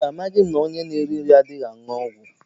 Mba amaghị m na ọnye n'erighi nri adịghị aṅụ ọgwụ.